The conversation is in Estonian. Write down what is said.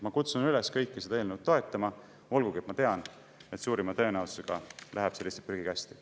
Ma kutsun üles kõiki seda eelnõu toetama, olgugi et ma tean, et suurima tõenäosusega läheb see lihtsalt prügikasti.